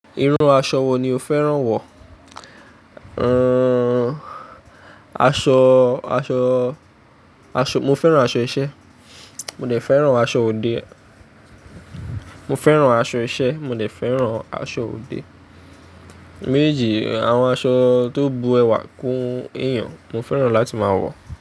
Irú aṣọ wo ni o fẹ́ràn wọ̀? Aṣọ, aṣọ, aṣọ, mo fẹ́ràn aṣọ iṣẹ́, mo dẹ̀ fẹ́ràn aṣọ òde. Mo fẹ́ràn aṣọ iṣẹ́, mo dẹ̀ fẹ́ràn aṣọ òde. Méjì, àwọn aṣọ tó bu ẹwà kún èèyàn, mo fẹ́ràn láti máa wọ̀